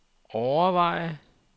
overveje